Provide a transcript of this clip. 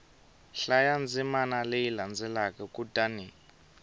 hlaya ndzimana leyi landzelaka kutani